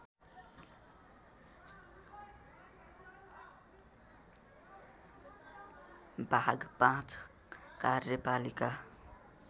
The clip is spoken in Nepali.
भाग ५ कार्यपालिका